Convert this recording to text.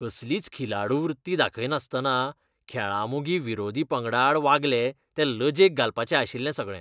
कसलीच खिलाडू वृत्ती दाखयनासतना खेळां मोगी विरोधी पंगडाआड वागले, तें लजेक घालपाचें आशिल्लें सगळें.